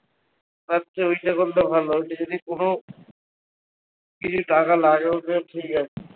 তার চেয়ে ওইটা করলে ভালো যদি কোনো কিছু টাকা লাগেও তো ঠিক আছে